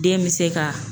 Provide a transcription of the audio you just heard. Den bɛ se ka